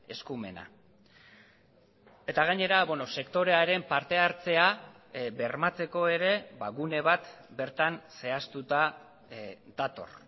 eskumena eta gainera sektorearen parte hartzea bermatzeko ere gune bat bertan zehaztuta dator